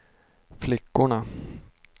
flickorna